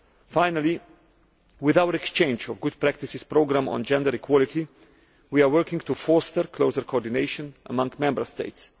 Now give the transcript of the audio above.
Finally, with our exchange of good practices programme on gender equality, we are working to foster closer coordination among Member States.